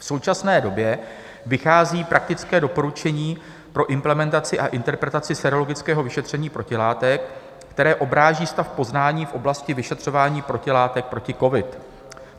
V současné době vychází praktické doporučení pro implementaci a interpretaci sérologického vyšetření protilátek, které odráží stav poznání v oblasti vyšetřování protilátek proti covidu.